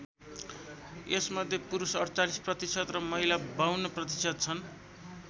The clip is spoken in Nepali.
यसमध्ये पुरुष ४८% र महिला ५२% छन्।